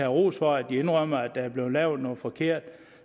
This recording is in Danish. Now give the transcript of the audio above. ros for at indrømme at der er blevet lavet noget forkert